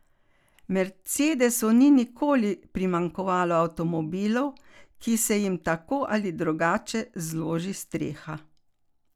Mercedesu ni nikoli primanjkovalo avtomobilov, ki se jim tako ali drugače zloži streha.